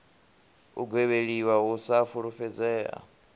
u gwevheliwa u sa fulufhedzea